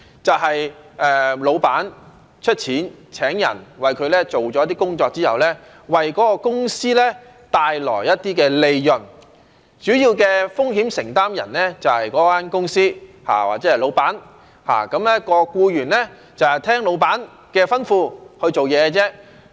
就是老闆出錢請人，那人為他做了一些工作之後，為該公司帶來一些利潤，主要的風險承擔人就是該公司或老闆，而僱員就是聽老闆的吩咐去做事。